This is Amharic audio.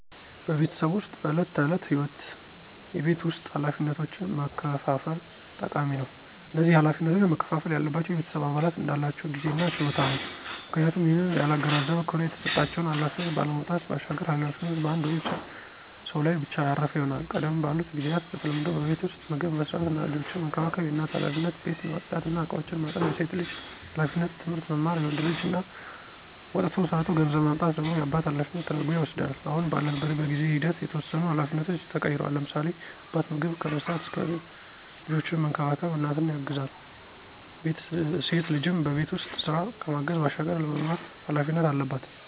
በቤተሰብ ዉስጥ በዕለት ተዕለት ህይወት የቤት ውስጥ ኃላፊነቶችን መከፋፈል ጠቃሚ ነው። እነዚህ ኃላፊነቶች መከፍፈል ያለባቸው የቤተሰብ አባላት እንዳላቸው ጊዜ እና ችሎታ ነው፤ ምክንያቱም ይህንን ያላገናዘበ ከሆነ የተሰጣቸውን ኃላፊነት ካለመወጣት ባሻገር ኃላፊነቱ በአንድ ወይም ሰው ላይ ብቻ ያረፈ ይሆናል። ቀደም ባሉት ጊዚያት በተለምዶ በቤት ዉስጥ ምግብ መስራት እና ልጆችን መንከባከብ የእናት ኃላፊነት፣ ቤት ማፅዳት እና እቃዎችን ማጠብ የሴት ልጅ ኃላፊነት፣ ትምህርት መማር የወንድ ልጅ እና ወጥቶ ሠርቶ ገንዘብ ማምጣት ደግሞ የአባት ኃላፊነት ተደርጐ ይወስዳል። አሁን ባለንበት በጊዜ ሂደት የተወሰኑ ኃላፊነቶች ተቀይረዋል፤ ለምሳሌ፦ አባት ምግብ ከመስራት እስከ ልጆችን መንከባከብ እናትን ያግዛል፣ ሴት ልጅም በቤት ውስጥ ስራ ከማገዝ ባሻገር ለመማር ኃላፊነት አለባት።